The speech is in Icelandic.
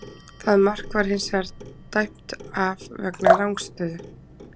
Það mark var hins vegar dæmt af vegna rangstöðu.